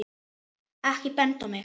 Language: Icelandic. Ekki benda á mig